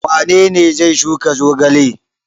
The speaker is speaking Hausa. Wane ne zai shuka zogale?